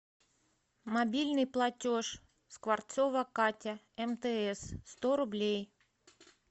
мобильный платеж скворцова катя мтс сто рублей